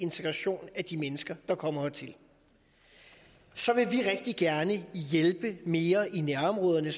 integration af de mennesker der kommer hertil så vil vi rigtig gerne hjælpe mere i nærområderne